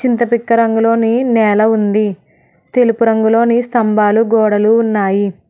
చింతపిక్క రంగులోని నేల ఉంది తెలుపు రంగులోనే స్తంభాలు గోడలు ఉన్నాయి.